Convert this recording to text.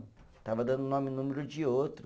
Estava dando nome e número de outro.